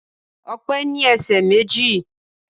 Ọpẹ́ ní ẹsẹ̀ méjì